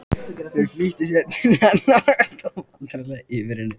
Þau flýttu sér til hennar og stóðu vandræðaleg yfir henni.